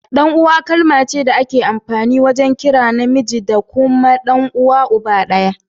Dan uwa kalma ce da ake amfani wajen kiran na miji da ke da kuna da uwa da uba daya.